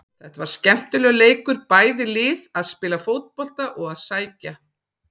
Þetta var skemmtilegur leikur, bæði lið að spila fótbolta og að sækja.